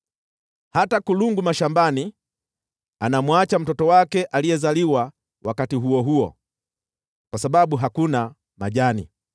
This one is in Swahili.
Hata kulungu mashambani anamwacha mtoto wake aliyezaliwa wakati huo huo kwa sababu hakuna majani.